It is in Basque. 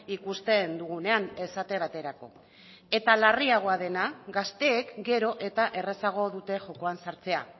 ikusten dugunean esate baterako eta larriagoa dena gazteek gero eta errazago dute jokoan sartzea